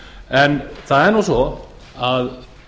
en það er nú svo að